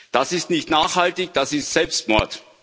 Das ist nicht nachhaltig, das ist Selbstmord.